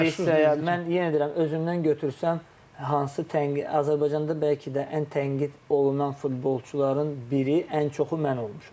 Mən yenə deyirəm, özümdən götürsəm, hansı tənqid, Azərbaycanda bəlkə də ən tənqid olunan futbolçuların biri, ən çoxu mən olmuşam.